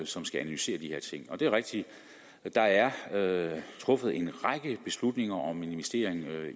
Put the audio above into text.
som skal analysere de her ting det er rigtigt at der er truffet en række beslutninger om en investering